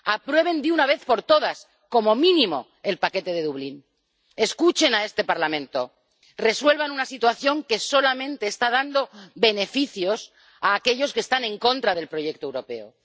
Aprueben de una vez por todas, como mínimo, el paquete de Dublín, escuchen a este Parlamento, resuelvan una situación que solamente está dando beneficios a aquellos que están en contra del proyecto europeo.